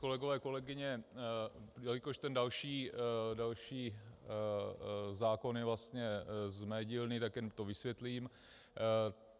Kolegyně, kolegové, jelikož ten další zákon je vlastně z mé dílny, tak jen to vysvětlím.